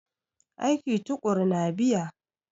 Aiki tuƙuru na biya.